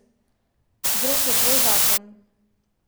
Vzrok je tvoj zakon.